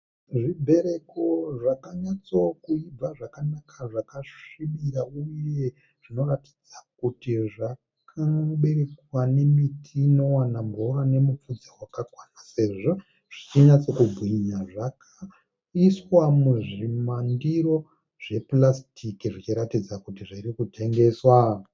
Zvibereko zvakanyatso kuibva zvakanaka zvakasvibira uye zvinoratidza kuti zvakaberekwa nemiti inowana mvura nemupfudze zvakakwana sezvo zvichinyatsa kubwinya. Zvakaiswa muzvimandiro zvepurasitiki zvichiratidza kuti zviri kutengeswa.